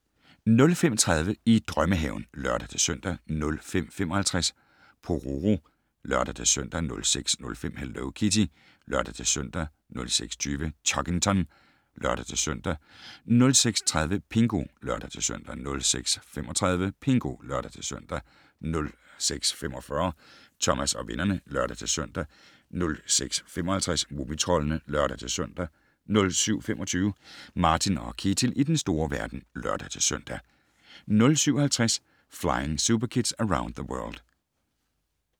05:30: I drømmehaven (lør-søn) 05:55: Pororo (lør-søn) 06:05: Hello Kitty (lør-søn) 06:20: Chuggington (lør-søn) 06:30: Pingu (lør-søn) 06:35: Pingu (lør-søn) 06:45: Thomas og vennerne (lør-søn) 06:55: Mumitroldene (lør-søn) 07:25: Martin & Ketil i den store verden (lør-søn) 07:50: Flying Superkids Around the World